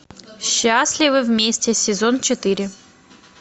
счастливы вместе сезон четыре